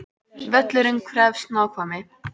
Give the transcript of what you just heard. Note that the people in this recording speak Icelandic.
Völlurinn krefst nákvæmni